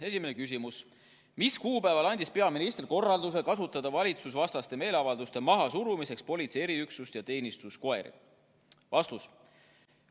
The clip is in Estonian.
Esimene küsimus: "Mis kuupäeval andis peaminister korralduse kasutada valitsusvastaste meeleavalduste mahasurumiseks politsei eriüksust ja teenistuskoeri?